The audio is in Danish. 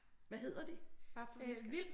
Hvad hedder de? Bare for nysgerrighed